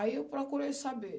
Aí eu procurei saber.